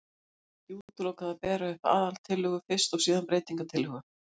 Hér er ekki útilokað að bera upp aðaltillögu fyrst og síðan breytingatillögu.